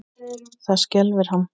Það skelfir hann.